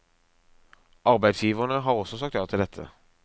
Arbeidsgiverne har også sagt ja til dette.